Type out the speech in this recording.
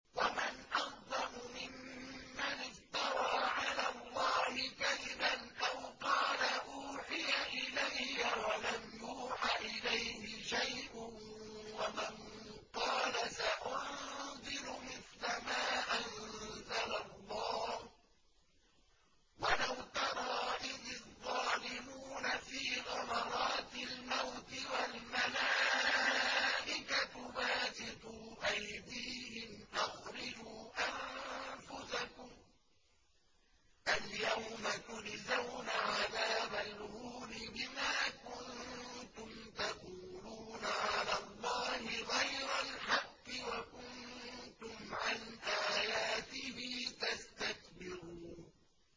وَمَنْ أَظْلَمُ مِمَّنِ افْتَرَىٰ عَلَى اللَّهِ كَذِبًا أَوْ قَالَ أُوحِيَ إِلَيَّ وَلَمْ يُوحَ إِلَيْهِ شَيْءٌ وَمَن قَالَ سَأُنزِلُ مِثْلَ مَا أَنزَلَ اللَّهُ ۗ وَلَوْ تَرَىٰ إِذِ الظَّالِمُونَ فِي غَمَرَاتِ الْمَوْتِ وَالْمَلَائِكَةُ بَاسِطُو أَيْدِيهِمْ أَخْرِجُوا أَنفُسَكُمُ ۖ الْيَوْمَ تُجْزَوْنَ عَذَابَ الْهُونِ بِمَا كُنتُمْ تَقُولُونَ عَلَى اللَّهِ غَيْرَ الْحَقِّ وَكُنتُمْ عَنْ آيَاتِهِ تَسْتَكْبِرُونَ